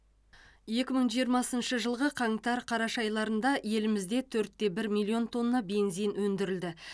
екі мың жиырмасыншы жылғы қаңтар қараша айларында елімізде төртте бір миллион тонна бензин өндірілді